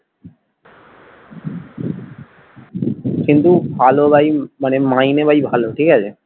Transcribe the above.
কিন্তু ভালো ভাই মানে মাইনে ভাই ভালো ঠিক আছে।